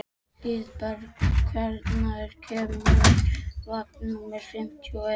Hlíðberg, hvenær kemur vagn númer fimmtíu og eitt?